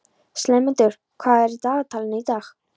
slefmundur, hvað er í dagatalinu í dag?